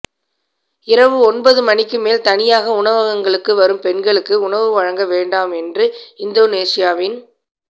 இரவு ஒன்பது மணிக்கு மேல் தனியாக உணவகங்களுக்கு வரும் பெண்களுக்கு உணவு வழங்க வேண்டாம் என்றும் இந்தோனோஷிவின்